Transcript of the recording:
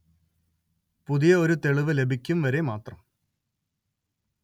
പുതിയ ഒരു തെളിവ് ലഭിക്കും വരെ മാത്രം